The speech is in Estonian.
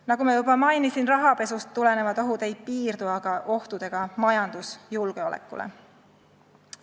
Nagu ma juba mainisin, rahapesust tulenevad ohud ei piirdu aga ohtudega majandusjulgeolekule.